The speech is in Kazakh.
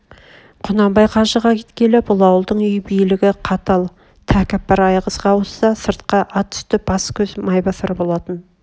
құнанбай қажыға кеткелі бұл ауылдың үй билгі қатал тәкаппар айғызға ауысса сыртқа ат үсті бас-көз майбасар болатын